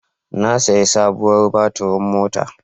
Na sayi sabuwar baturin mota.